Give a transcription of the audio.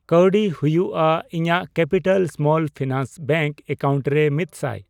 ᱠᱟᱣᱰᱤ ᱦᱩᱭᱩᱜᱼᱟ ? ᱤᱧᱟᱜ capital small finance bank account ᱨᱮ ᱢᱤᱛᱥᱟᱭ ?